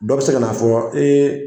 Dɔw bɛ se ka n'a fɔ ee